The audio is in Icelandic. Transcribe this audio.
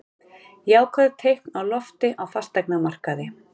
Jákvæð teikn á lofti á fasteignamarkaði